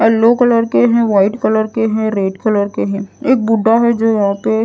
yellow colour के हैं white colour के हैं रेड कलर के हैं एक बुड्ढा है जो यहां पे --